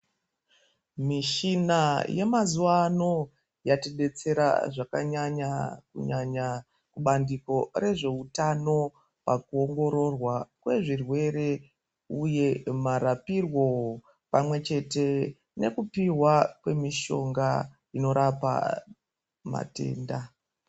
Mishina yemazuva ano yatibetsera zvakanyanya kunyanya kubandiko rezveutano pakuongororwa kwezvirwere, uye marapirwo pamwe chete nekupihwa kwemishonga inorapa matenda.